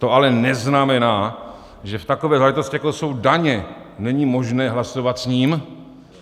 To ale neznamená, že v takové záležitosti, jako jsou daně, není možné hlasovat s ním.